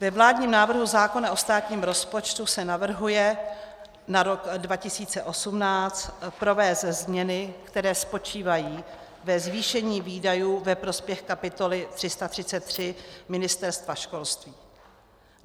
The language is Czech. Ve vládním návrhu zákona o státním rozpočtu se navrhuje na rok 2018 provést změny, které spočívají ve zvýšení výdajů ve prospěch kapitoly 333 Ministerstvo školství.